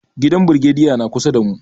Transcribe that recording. Gidan brigediyan na kusa da mu.